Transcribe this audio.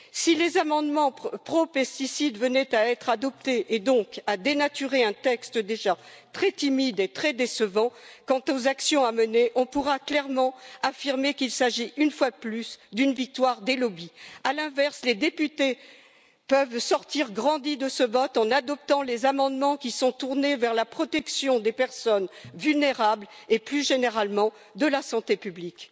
Si les amendements pro pesticides venaient à être adoptés et donc à dénaturer un texte déjà très timide et très décevant quant aux actions à mener, on pourra clairement affirmer qu'il s'agit une fois de plus d'une victoire des lobbies. À l'inverse, les députés peuvent sortir grandis de ce vote en adoptant les amendements qui sont tournés vers la protection des personnes vulnérables et, plus généralement, de la santé publique.